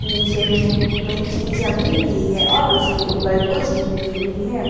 नीचे मे मिट्टी जमी हुई है और उसके ऊपर कुछ गिट्टी भी है।